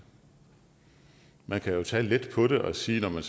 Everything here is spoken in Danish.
man kan jo tage let på det og sige når man